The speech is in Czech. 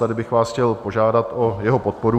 Tady bych vás chtěl požádat o jeho podporu.